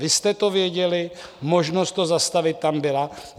Vy jste to věděli, možnost to zastavit tam byla.